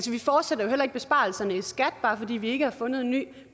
vi fortsætter heller ikke besparelserne i skat bare fordi vi ikke har fundet en ny